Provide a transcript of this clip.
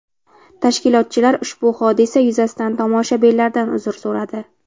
Tashkilotchilar ushbu hodisa yuzasidan tomoshabinlardan uzr so‘radi.